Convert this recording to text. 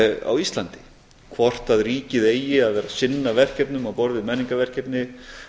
á íslandi hvort ríkið eigi að vera að sinna verkefnum á borð við menningarverkefni